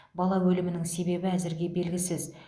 бала өлімінің себебі әзірге белгісіз